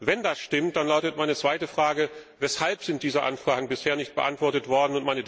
Wenn das stimmt, dann lautet meine zweite Frage Weshalb sind diese Anfragen bisher nicht beantwortet worden?